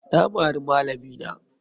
Na mari malami na.